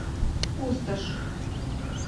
пустошь